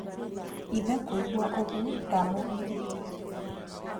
Ithe kũigua ũgwo ndamũgiririe.